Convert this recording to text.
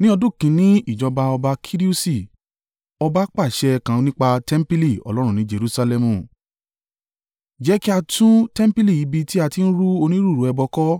Ní ọdún kìn-ín-ní ìjọba ọba Kirusi, ọba pa àṣẹ kan nípa tẹmpili Ọlọ́run ní Jerusalẹmu. Jẹ́ kí a tún tẹmpili ibi tí a ti ń rú onírúurú ẹbọ kọ́,